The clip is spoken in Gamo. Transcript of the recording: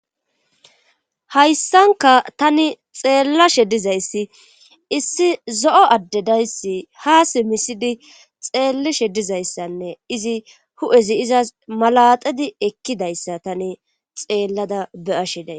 hayssanka tani xeellashe dizayssi issi zo7o addedayssi haa si misidi xeellashe dizayssanne izi hu7ezi izas malaxedi ekkidayssa tani xeellada be7ashe days